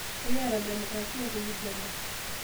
Ekiata demokrasia te Uganda